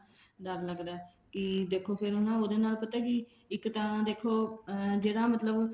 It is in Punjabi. ਡਰ ਲੱਗਦਾ ਦੇਖੋ ਫ਼ੇਰ ਉਹਦੇ ਨਾਲ ਪਤਾ ਕੀ ਇੱਕ ਤਾਂ ਦੇਖੋ ਅਮ ਜਿਹੜਾ ਮਤਲਬ